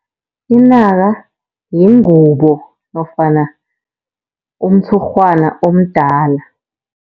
Inaka yingubo nofana umtshurhwana omdala.